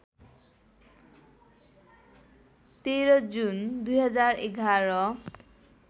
१३ जुन २०११